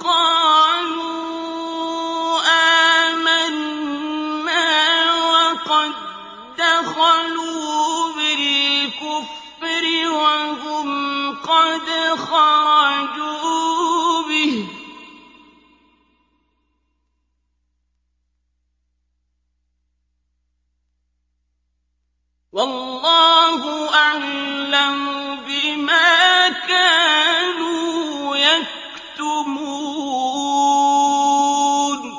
قَالُوا آمَنَّا وَقَد دَّخَلُوا بِالْكُفْرِ وَهُمْ قَدْ خَرَجُوا بِهِ ۚ وَاللَّهُ أَعْلَمُ بِمَا كَانُوا يَكْتُمُونَ